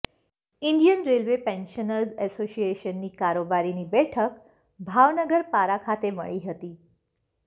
Indian railway pensioners એસોસિએશનની કારોબારીની બેઠક ભાવનગર પરા ખાતે મળી હતી